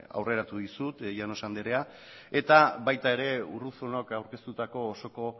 aurreratu dizut llanos andrea eta baita ere urruzunok aurkeztutako osoko